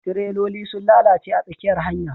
tireloli sun lalace a tsakiyar hanya